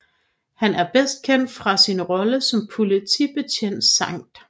Han er bedst kendt fra sin rolle som politibetjent Sgt